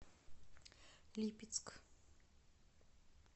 липецк